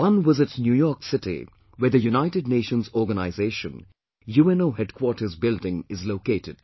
One was at New York City where the United Nations Organisation UNO Head Quarters building is located